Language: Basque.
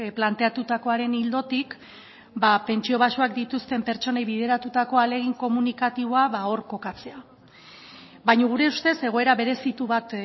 planteatutakoaren ildotik pentsio baxuak dituzten pertsonei bideratutako ahalegin komunikatiboa ba hor kokatzea baina gure ustez egoera berezitu bat